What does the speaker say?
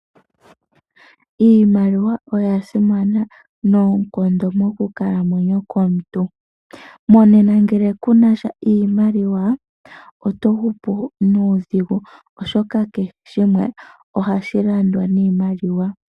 Iimaliwa oyasimana noonkondo mokunkalamwenyo komuntu. Monena ngele kuna sha iimaliwa oto hupu nuudhigu oshoka kehe shimwe ohashi landwa niimaliwa.